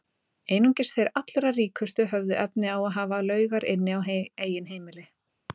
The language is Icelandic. Einungis þeir allra ríkustu höfðu efni á að hafa laugar inni á eigin heimili.